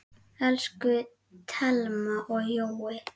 Elsku Thelma og Jói.